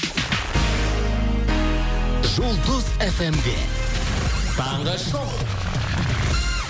жұлдыз фм де таңғы шоу